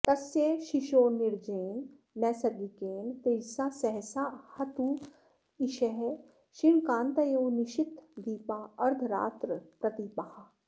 तस्य शिशोर्निजेन नैसर्गिकेण तेजसा सहसा हतत्विषः क्षीणकान्तयो निशीथदीपा अर्द्धरात्रप्रदीपाः